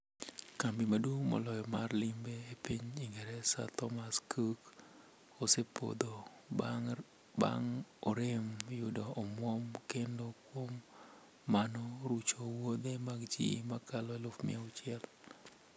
Kambi maduong' moloyo mar limbe e piny ingresa ,Thomas cook ,osepodho bang' orem yudo omwom kendo kuom mano, rucho wuothe mag ji makalo aluf mia auchiel.